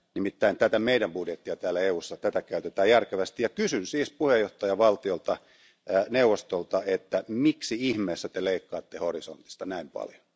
Nimittäin tätä meidän budjettia täällä EUssa käytetään järkevästi, ja kysyn siis puheenjohtajavaltiolta ja neuvostolta, että miksi ihmeessä te leikkaatte Horisontti ohjelmasta näin paljon.